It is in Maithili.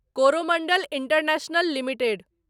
Coromandel international limited